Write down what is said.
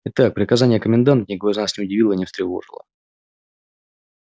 итак приказание коменданта никого из нас не удивило и не встревожило